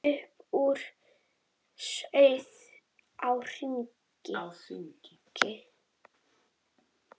Upp úr sauð á þingi